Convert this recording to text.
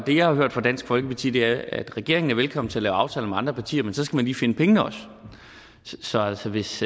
har hørt fra dansk folkeparti er at regeringen er velkommen til at lave aftaler med andre partier men så skal man lige finde pengene også så altså hvis